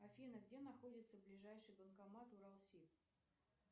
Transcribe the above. афина где находится ближайший банкомат уралсиб